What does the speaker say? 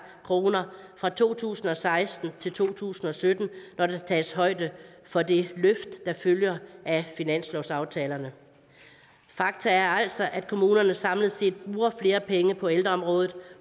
kroner fra to tusind og seksten til to tusind og sytten når der tages højde for det løft der følger af finanslovsaftalen fakta er altså at kommunerne samlet set bruger flere penge på ældreområdet